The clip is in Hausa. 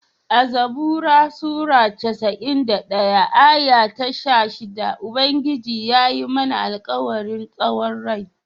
A'zabura sura casa'in da ɗaya aya ta sha shidda, Ubangiji yayi mana alkawarin tsawon rai.